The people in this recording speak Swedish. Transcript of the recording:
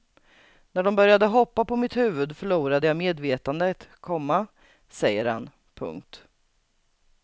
När de började hoppa på mitt huvud förlorade jag medvetandet, komma säger han. punkt